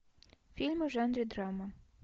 фильмы в жанре драма